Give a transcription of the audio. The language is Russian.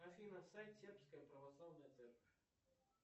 афина сайт сербская православная церковь